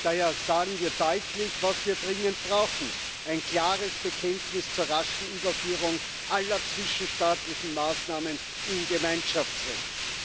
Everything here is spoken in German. Daher sagen wir deutlich, was wir dringend brauchen ein klares Bekenntnis zur raschen Überführung aller zwischenstaatlichen Maßnahmen in Gemeinschaftsrecht.